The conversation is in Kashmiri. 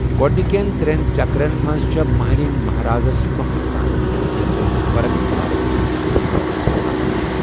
گوڈنِكین تر٘ین چكرن منز چھے٘ ماہرِینہِ مہارازس برونہہ آسان ، ییلہِ تِم مُتبرق نارس أندۍ أندۍ اِكوٹہٕ نژان چھِ ۔